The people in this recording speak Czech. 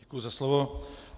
Děkuji za slovo.